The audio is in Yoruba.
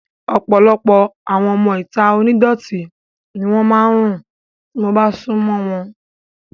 Ọ̀pọ̀lọpọ̀ àwọn ọmọ ìta onídọ̀tí ni wọ́n máa ń rùn tí mo bá sún mọ́ wọn